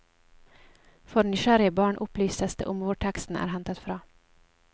For nysgjerrige barn opplyses det om hvor teksten er hentet fra.